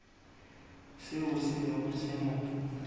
seo se bego se mo